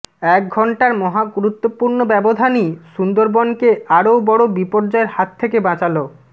এক ঘণ্টার মহাগুরুত্বপূর্ণ ব্যবধানই সুন্দরবনকে আরও বড়ো বিপর্যয়ের হাত থেকে বাঁচাল